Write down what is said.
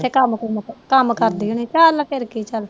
ਕੰਮ ਕਰਦੀ ਹੋਣੀ ਚੱਲ ਫੇਰ ਕਿ ਚੱਲ